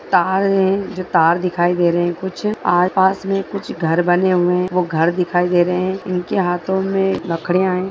तार है जो तार दिखाई दे रहे है कुछ आसपास मे कुछ घर बने हुए है ओह घर दिखाई दे रहे है इनके हाथो मे लकड़िया है।